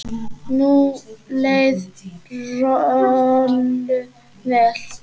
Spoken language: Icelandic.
Nú leið Rolu vel.